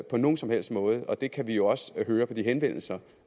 på nogen som helst måde og det kan vi jo også høre på de henvendelser